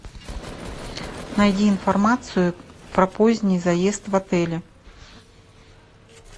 найди информацию про поздний заезд в отеле